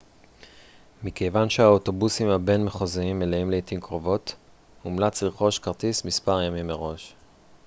מכיוון שהאוטובוסים הבין-מחוזיים מלאים לעתים קרובות מומלץ לרכוש כרטיס מספר ימים מראש